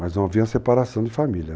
Mas não havia separação de família.